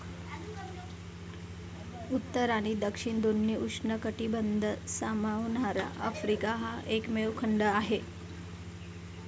उत्तर आणि दक्षिण दोन्ही उष्ण कटिबंध सामावणारा आफ्रिका हा एकमेव खंड आहे.